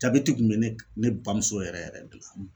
Jabɛti kun be ne ne bamuso yɛrɛ yɛrɛ de la